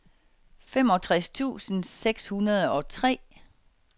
femogtres tusind seks hundrede og tre